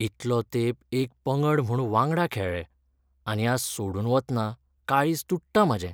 इतलो तेंप एक पंगड म्हूण वांगडा खेळ्ळे, आनी आज सोडून वतना काळीज तुट्टां म्हाजें.